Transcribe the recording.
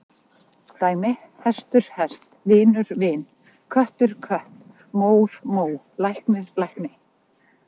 Dæmi: hestur- hest, vinur- vin, köttur- kött, mór- mó, læknir- lækni.